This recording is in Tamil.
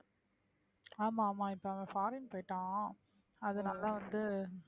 ஆமா ஆமா இப்ப அவன் foreign போயிட்டான் அதுனால வந்து